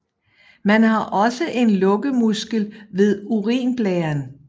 Man har også en lukkemuskel ved urinblæren